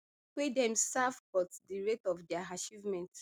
wey dem serve but di rate of dia achievements